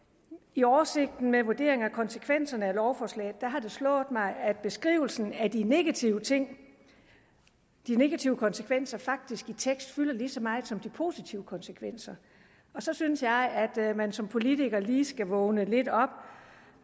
i oversigten med vurderinger af konsekvenserne af lovforslaget har det slået mig at beskrivelsen af de negative ting de negative konsekvenser faktisk i tekst fylder lige så meget som de positive konsekvenser og så synes jeg at man som politiker lige skal vågne lidt op